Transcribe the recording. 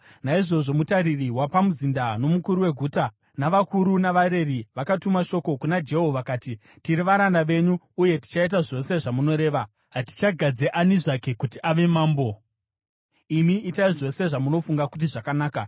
Naizvozvo mutariri wapamuzinda, nomukuru weguta, navakuru navareri vakatuma shoko kuna Jehu vakati, “Tiri varanda venyu uye tichaita zvose zvamunoreva. Hatichagadzi ani zvake kuti ave mambo; imi itai zvose zvamunofunga kuti zvakanaka.”